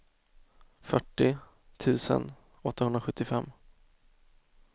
fyrtio tusen åttahundrasjuttiofem